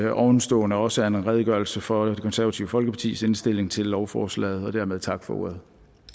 at ovenstående også er en redegørelse for det konservative folkepartis indstilling til lovforslaget dermed tak for ordet